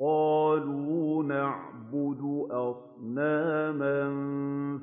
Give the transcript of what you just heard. قَالُوا نَعْبُدُ أَصْنَامًا